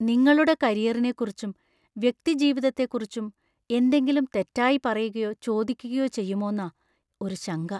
നിങ്ങളുടെ കരിയറിനെ കുറിച്ചും വ്യക്തിജീവിതത്തെ കുറിച്ചും എന്തെങ്കിലും തെറ്റായി പറയുകയോ ചോദിക്കുകയോ ചെയ്യുമോന്നാ ഒരു ശങ്ക.